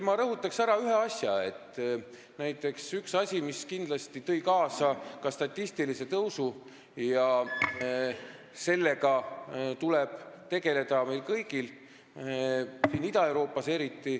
Ma rõhutan veel ühte asja, mis tõi kindlasti kaasa statistilise tõusu ja millega tuleb tegeleda meil kõigil, eriti siin Ida-Euroopas.